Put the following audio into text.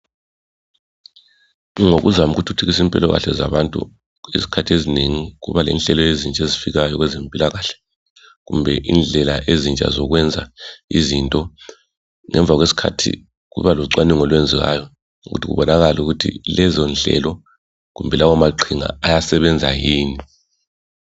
Ngokuzama ukuthuthukisa impilo zabantu kuba lenhlelo ezintsha ezifikayo ezempilakahle kumbe indlela ezintsha zokwenza izinto ngemva kwesikhathi kubalocwaningo olweziwa ukuthi kubonakale ukuthi lezo zinhlelo kumbe lawa maqinga ayasebenza yini